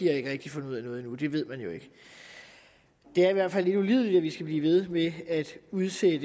at de finder ud af noget det ved man jo ikke det er i hvert fald lidt ulideligt at vi skal blive ved med at udsætte